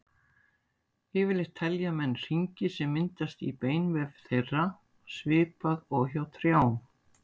Yfirleitt telja menn hringi sem myndast í beinvef þeirra, svipað og hjá trjám.